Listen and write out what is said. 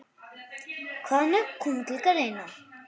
Hvaða nöfn koma til greina?